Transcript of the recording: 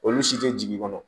Olu si tɛ jigin kɔnɔ